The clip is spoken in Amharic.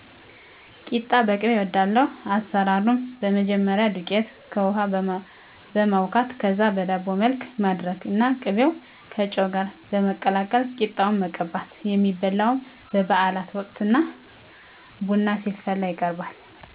ቂጣ በቅቤ እወዳለሁ። አሰራሩም መጀመሪያ ዱቄት በውሀ በማቡካት ከዛ በዳቦ መልክ ማድረግ እና ቅቤውን ከጨው ጋር በማቀላቀል ቂጣውን መቀባት የሚበላውም በባዓል ወቅት እና ቡና ሲፈላ ይቀርባል።